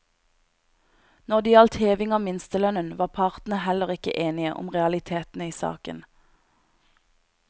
Når det gjaldt heving av minstelønnen, var partene heller ikke enige om realitetene i saken.